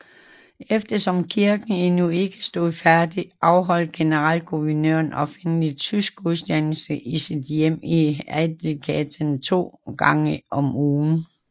Eftersom kirken endnu ikke stod færdig afholdt generalguvernøren offentlig tysk gudstjeneste i sit hjem i Adelgatan to gange om ugen